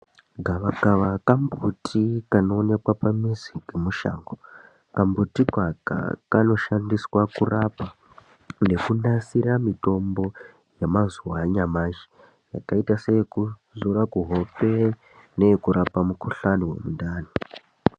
Gavakava kambuti kanoonekwa pamuzi ngemushango. Kambuti Kaka, kanoshandiswa kurapa nekunasira mitombo yemazuva anyamashi, yakaita seyekuzora kuhope, neyekurapa mukuhlani wemundani.